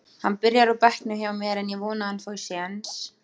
Hann byrjar á bekknum hjá mér en ég vona að hann fái séns.